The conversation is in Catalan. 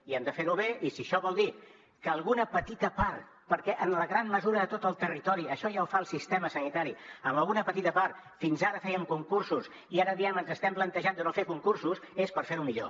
i hem de fer ho bé i si això vol dir que a alguna petita part perquè en gran mesura a tot el territori això ja ho fa el sistema sanitari fins ara fèiem concursos i ara diem ens estem plantejant de no fer concursos és per fer ho millor